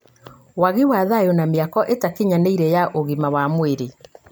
wagi wa thayũ na mĩako ĩtakinyanĩire ya ũgima wa mwĩrĩ